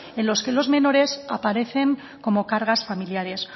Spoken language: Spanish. en los que los menores a parecen como cargas familiares